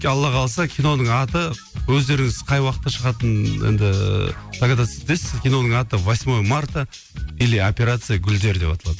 алла қаласа киноның аты өздеріңіз қай уақытта шығатынын енді догадаться етесіз киноның аты восьмое марта или операция гулдер деп аталады